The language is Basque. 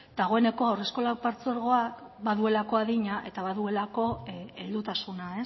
dagoeneko haurreskolak patzuergoak baduelako adina eta baduelako heldutasuna